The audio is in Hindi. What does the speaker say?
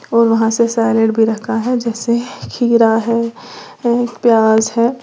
और वहां से साइलेड भी रखा है जैसे खीरा है प्याज है।